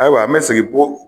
Ayiwa n be segin po